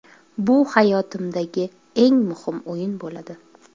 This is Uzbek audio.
Bu hayotimdagi eng muhim o‘yin bo‘ladi.